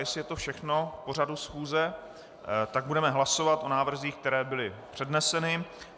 Jestli je to všechno k pořadu schůze, tak budeme hlasovat o návrzích, které byly předneseny.